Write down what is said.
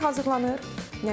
Rahat hazırlanır.